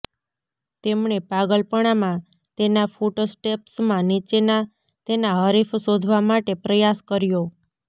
તેમણે પાગલપણામાં તેના ફૂટસ્ટેપ્સ માં નીચેના તેના હરીફ શોધવા માટે પ્રયાસ કર્યો